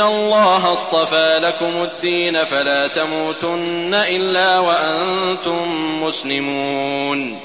اللَّهَ اصْطَفَىٰ لَكُمُ الدِّينَ فَلَا تَمُوتُنَّ إِلَّا وَأَنتُم مُّسْلِمُونَ